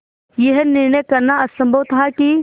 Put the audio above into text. यह निर्णय करना असम्भव था कि